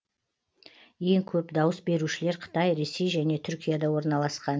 ең көп дауыс берушілер қытай ресей және түркияда орналасқан